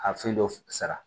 A fɛn dɔ sara